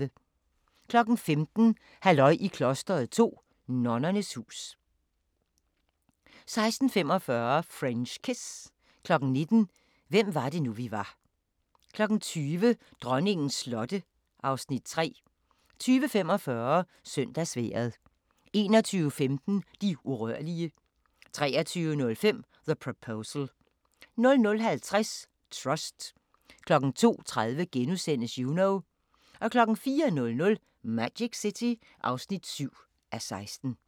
15:00: Halløj i klosteret 2: Nonnernes hus 16:45: French Kiss 19:00: Hvem var det nu, vi var 20:00: Dronningens slotte (Afs. 3) 20:45: Søndagsvejret 21:15: De urørlige 23:05: The Proposal 00:50: Trust 02:30: Juno * 04:00: Magic City (7:16)